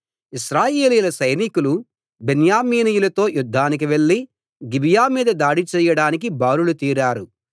ఇశ్రాయేలీయుల సైనికులు బెన్యామీనీయులతో యుద్ధానికి వెళ్ళి గిబియా మీద దాడి చేయడానికి బారులు తీరారు